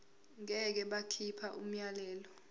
ngeke bakhipha umyalelo